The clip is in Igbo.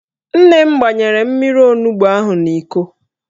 Nne m gbanyere m mmiri onugbo ahụ n'Iko